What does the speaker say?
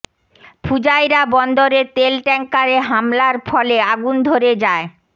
Fujairah বন্দরে তেল ট্যাংকারে হামলার ফলে আগুন ধরে যায়